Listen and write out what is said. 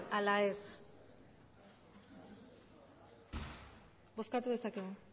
ala ez bozkatu dezakegu